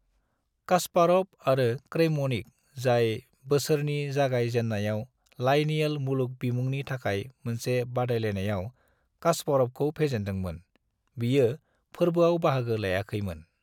Kasparov आरो Kramnik, जाय बोसोरनि जागाय जेननायाव लाइनियल मुलुग बिमुंनि थाखाय मोनसे बादायलायनायाव कास्पर'वखौ फेजेनदों मोन, बियो फोरबोआव बाहागो लायाखै मोन।